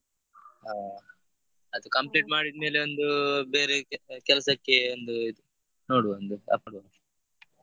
ಹಾ ಅದು complete ಮಾಡಿದ್ಮೇಲೆ ಒಂದು ಬೇರೆ ಕೆ~ ಕೆಲ್ಸಕ್ಕೆ ಒಂದು ನೋಡುವ ಒಂದು approach .